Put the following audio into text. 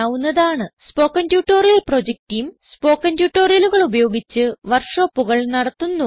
spoken tutorial project team spoken ട്യൂട്ടോറിയലുകൾ ഉപയോഗിച്ച് വർക്ക് ഷോപ്പുകൾ നടത്തുന്നു